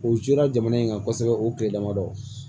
O joyira jamana in kan kosɛbɛ o tile damadɔ